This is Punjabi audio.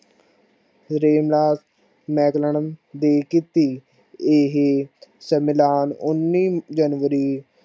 ਦੀ ਕਿੱਤੀ ਇਹ ਸਮਿਲਾਨ ਉਨੀ january